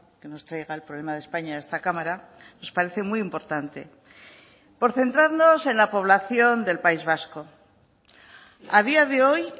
que nos traiga el problema de españa a esta cámara nos parece muy importante por centrarnos en la población del país vasco a día de hoy